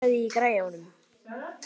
Haddur, hækkaðu í græjunum.